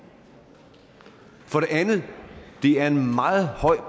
for det andet det er en meget høj